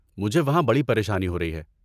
مجھے وہاں بڑی پریشانی ہو رہی ہے۔